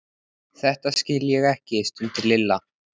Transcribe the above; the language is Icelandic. Þetta skil ég ekki stundi Lilla.